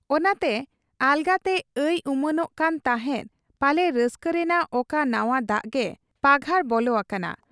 ᱚᱱᱟᱛᱮ ᱟᱞᱜᱟᱛᱮ ᱟᱭ ᱩᱢᱟᱹᱱᱚᱜ ᱠᱟᱱ ᱛᱟᱦᱮᱸᱫ ᱯᱟᱞᱮ ᱨᱟᱹᱥᱠᱟᱹ ᱨᱮᱱᱟᱜ ᱚᱠᱟ ᱱᱟᱶᱟ ᱫᱟᱜ ᱜᱮ ᱯᱟᱜᱷᱟᱨ ᱵᱚᱞᱚ ᱟᱠᱟᱱᱟ ᱾